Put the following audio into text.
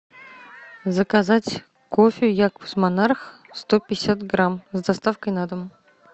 заказать кофе якобс монарх сто пятьдесят грамм с доставкой на дом